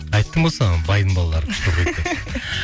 айттым ғой саған байдың балалары күшті оқиды деп